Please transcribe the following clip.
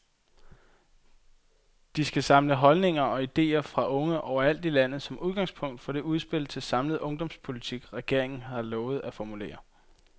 De skal samle holdninger og idéer, fra unge over alt i landet, som udgangspunkt for det udspil til samlet ungdomspolitik, regeringen har lovet at formulere.